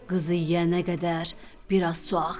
Qızı yeyənə qədər biraz su axır.